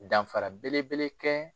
Danfara belebele kɛ.